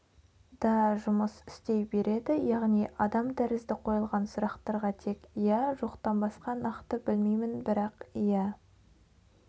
да жұмыс істей береді яғни адам тәрізді қойылған сұрақтарға тек иә жоқтан басқа нақты білмеймін бірақ иә